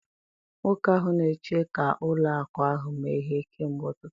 Nwoke ahụ na-eche ka ụlọ akụ ahụ meghee kemgbe ụtụtụ!